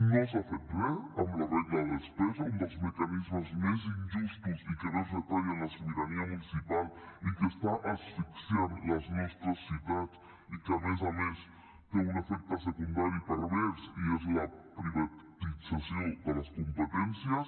no s’ha fet res amb la regla de despesa un dels mecanismes més injustos i que més retallen la sobirania municipal i que està asfixiant les nostres ciutats i que a més a més té un efecte secundari pervers i és la privatització de les competències